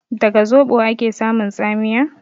Daga zoɓo ake samun tsamiya?